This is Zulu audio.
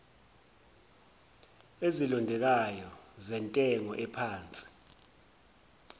ezilondekayo zentengo ephansi